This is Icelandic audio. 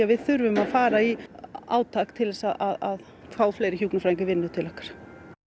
við þurfum að fara í átak til þess að fá fleiri hjúkrunarfræðinga í vinnu til okkar